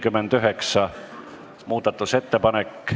Panen hääletusele Eesti Vabaerakonna fraktsiooni muudatusettepaneku.